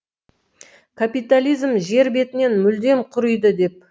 капитализм жер бетінен мүлдем құриды деп